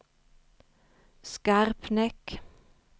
Skarpnäck